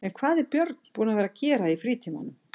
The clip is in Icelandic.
En hvað er Björn búinn að vera að gera í frítímanum?